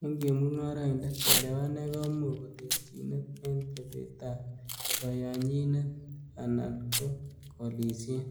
En chemungoroindet, chelewanet komuch koterchinet en tebetab koyonyinet anan ko koliiset.